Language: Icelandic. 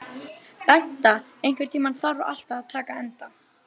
Bengta, einhvern tímann þarf allt að taka enda.